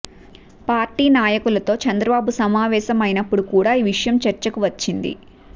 party నాయకులతో చంద్రబాబు సమావేశం అయినప్పుడు కూడా ఈ విషయం చర్చకు వచ్చింది